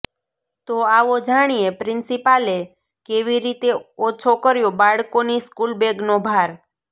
તો આવો જાણીએ પ્રિન્સિપાલે કેવી રીતે ઓછો કર્યો બાળકોની સ્કૂલ બેગનો ભાર